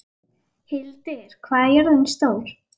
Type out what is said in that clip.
Hildir, hvað er jörðin stór?